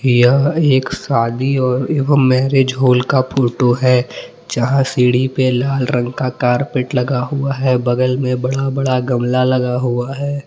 यह एक शादी एवं मैरेज हॉल का फोटो है जहां सीढ़ी पर लाल रंग का कारपेट लगा हुआ है बगल में बड़ा बड़ा गमला लगा हुआ है।